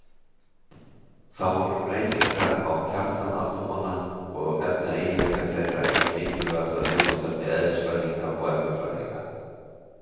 Þá voru breytingar á kjarna atómanna og efnaeiginleikar þeirra eitt mikilvægasta viðfangsefni eðlisfræðinga og efnafræðinga.